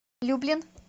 люблин